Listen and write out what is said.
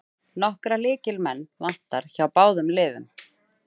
Nokkra lykilmenn vantar hjá báðum liðum